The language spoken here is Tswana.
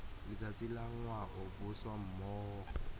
letsatsi la ngwao boswa mmogo